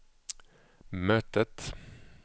mötet